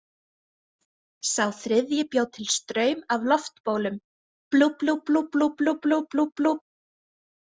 Sá þriðji bjó til straum af loftbólum, blúblúblúblúblúblúblúblú.